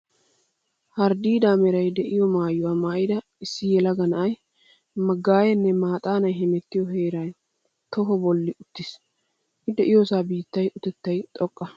Harddiidaa meray de'iyo maayuwa maayida issi yelaga na'ay maggaaye nne maaxaanay heemettiyo heeran toho bolli uttiis. I de'iyosaa biittaa utettay xoqqa.